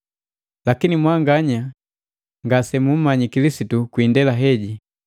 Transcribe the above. Lakini mwanganya gasemummyi Kilisitu kwandela heji.